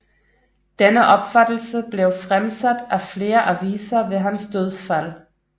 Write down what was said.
Denne opfattelse blev fremsat af flere aviser ved hans dødsfald